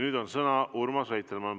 Nüüd on sõna Urmas Reitelmannil.